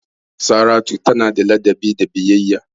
Saratu tana da ladabi da biyayya.